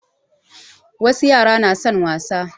Wasu yara na son wasa